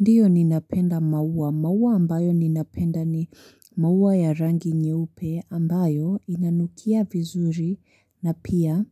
Ndiyo ninapenda mauwa. Mauwa ambayo ninapenda ni mauwa ya rangi nyeupe ambayo inanukia vizuri na pia